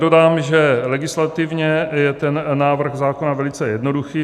Dodám, že legislativně je ten návrh zákona velice jednoduchý.